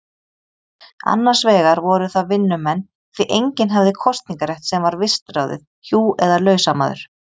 Annars vegar voru það vinnumenn, því enginn hafði kosningarétt sem var vistráðið hjú eða lausamaður.